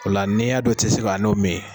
Ola n'i y'a don i tɛ se ka n'o min.